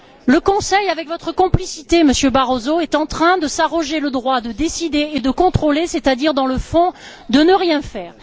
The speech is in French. Le Conseil, avec votre complicité, Monsieur Barroso, est en train de s'arroger le droit de décider et de contrôler, c'est à dire dans le fond de ne rien faire.